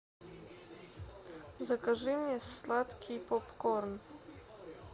закажи мнн сладкий поп корн